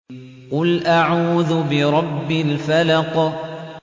قُلْ أَعُوذُ بِرَبِّ الْفَلَقِ